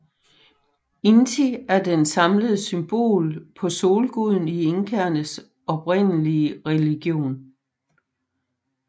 Inti er det samlede symbol på solguden i inkaernes oprindelige religion